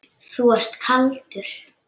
Þú ert kaldur!